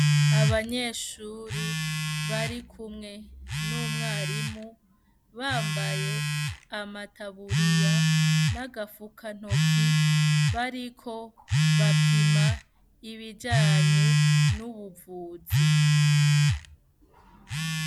Abanyeshuri barikumwe n'umwarimu bambaye amataburiye n'agafukantoki bariko bapima ibijanye n'ubuvuzi.